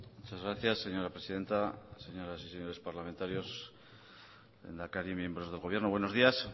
muchas gracias señora presidenta señoras y señores parlamentarios lehendakari miembros del gobierno buenos días